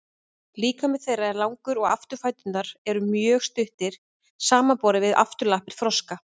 líkami þeirra er langur og afturfæturnir eru mjög stuttir samanborið við afturlappir froska